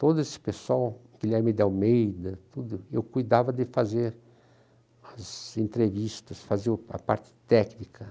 Todo esse pessoal, Guilherme de Almeida tudo, eu cuidava de fazer as entrevistas, fazer a parte técnica.